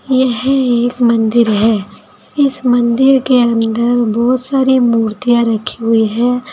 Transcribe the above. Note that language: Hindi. यह एक मंदिर है इस मंदिर के अंदर बहोत सारी मूर्तियां रखी हुई है।